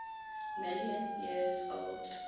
million years old